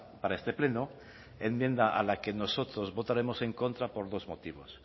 para este pleno enmienda a la que nosotros votaremos en contra por dos motivos